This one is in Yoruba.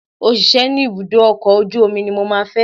Òṣìṣẹ́ ní ibùdó ọkọ̀ ojú omi ní mo máa fẹ́